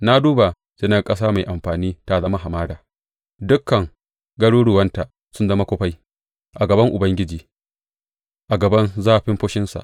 Na duba, sai na ga ƙasa mai amfani ta zama hamada; dukan garuruwanta sun zama kufai a gaban Ubangiji, a gaban zafin fushinsa.